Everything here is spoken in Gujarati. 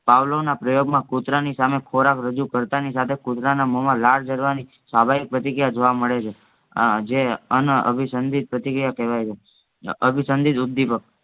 પાવલોના પ્રયોગમાં કૂતરાની સામે ખોરાક રજૂ કર્તાનીસાથે કૂતરાના મોમાં લાળ ઝરવાની સ્વાભાવિક પ્રતિક્રિયા જોવા મળેછે અ જે અનઅભિસંધિત પ્રતિક્રિયા કેવાયછે અનઅભિસંધિત ઉદ્દીપક